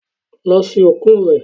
Lọ sin òkú rẹ